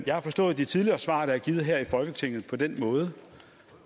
jeg har forstået det tidligere svar der er givet her i folketinget på den måde